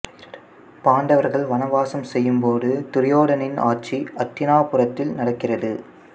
பாண்டவர்கள் வனவாசம் செய்யும் போது துரியோதனனின் ஆட்சி அத்தினாபுரத்தில் நடக்கிறது